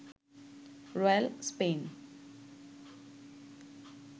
royal Spain